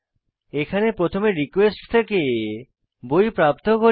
এখানে প্রথমে রিকোয়েস্ট থেকে বই প্রাপ্ত করি